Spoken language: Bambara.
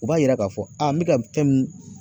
O b'a yira ka fɔ n be ka fɛn min